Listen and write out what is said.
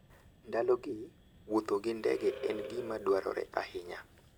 Ndalogi, wuotho gi ndege en gima dwarore ahinya.